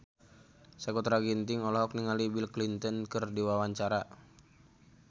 Sakutra Ginting olohok ningali Bill Clinton keur diwawancara